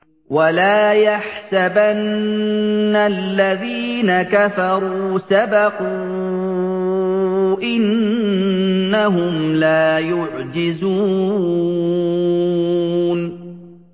وَلَا يَحْسَبَنَّ الَّذِينَ كَفَرُوا سَبَقُوا ۚ إِنَّهُمْ لَا يُعْجِزُونَ